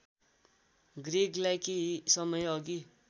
ग्रेगलाई केही समयअघि